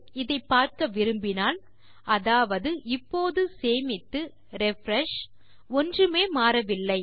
இதை பார்க்க விரும்பினால் அதாவது இப்போது சேமித்து ரிஃப்ரெஷ் ஒன்றுமே மாறவில்லை